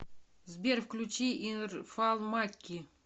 сбер включи ирфан макки